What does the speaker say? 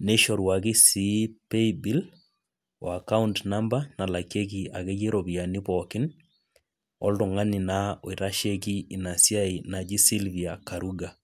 nishoruaki si paybill o account number nalakieki ropiyani pooki oltungani oitashieki inasia naji sylvia karuga.